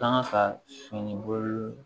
Kanga ka sɛnɛ bolo